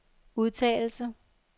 udtalelse